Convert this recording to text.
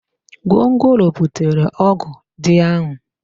Gwongworo butere ọgụ dị ahụ